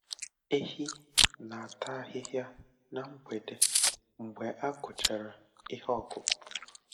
Ehi na-ata ahịhịa na mgbede mgbe a kụchara ihe ọkụkụ.